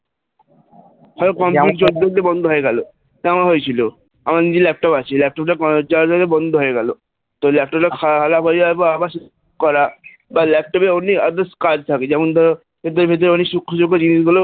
ধর computer চলতে চলতে বন্ধ হয়ে গেল আমার হয়েছিল আমার নিজের laptop আছে laptop টা charge নিয়ে বন্ধ হয়ে গেল তো laptop টা খারাপ হয়ে যাওয়ার পর আবার সেটা ঠিক করা বা laptop এ কাজ থেকে যেমন ধর সুখ্যসুখ্য জিনিসগুলো